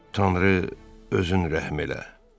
Tanrı, özün rəhm elə.